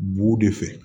Bu de fɛ